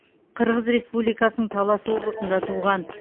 қырғыз республикасының талас облысында туған